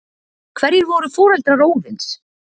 Hverjir voru foreldrar Óðins?